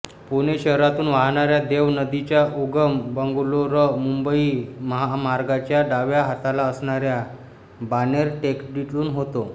पुणे शहरातून वाहणाऱ्या देव नदीचा उगम बंगलोरमुंबई महामार्गाच्या डाव्या हाताला असणाऱ्या बाणेर टेकडीतून होतो